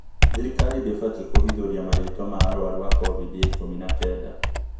Thirikari ndĩbatii kũhithũria marĩtwa ma arwaru a kovid ya ikumi na kenda